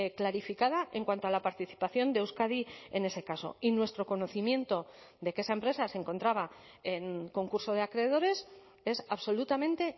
clarificada en cuanto a la participación de euskadi en ese caso y nuestro conocimiento de que esa empresa se encontraba en concurso de acreedores es absolutamente